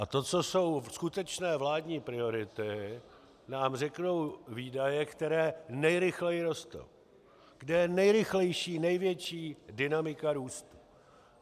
A to, co jsou skutečné vládní priority, nám řeknou výdaje, které nejrychleji rostou, kde je nejrychlejší, největší dynamika růstu.